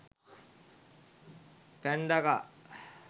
panda car